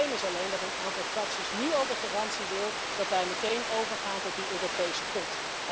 Probleem is alleen dat een aantal fracties nu al de garantie wil dat wij meteen overgaan tot die Europese pot.